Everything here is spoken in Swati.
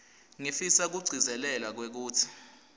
ngifisa kugcizelela kwekutsi